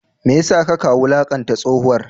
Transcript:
Me ya sa kaka wulakanta tsohuwar?